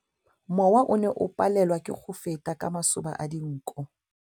Mowa o ne o palelwa ke go feta ka masoba a dinko.